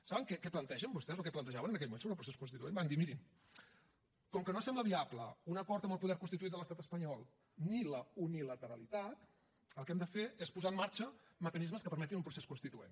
saben què plantegen vostès o què plantejaven en aquell moment sobre el procés constituent van dir mirin com que no sembla viable un acord amb el poder constituït de l’estat espanyol ni la unilateralitat el que hem de fer és posar en marxa mecanismes que permetin un procés constituent